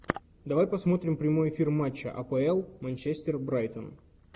давай посмотрим прямой эфир матча апл манчестер брайтон